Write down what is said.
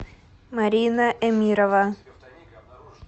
марина эмирова